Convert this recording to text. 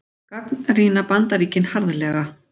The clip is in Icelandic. Gagnrýna Bandaríkin harðlega